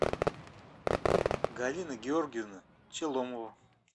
галина георгиевна челомова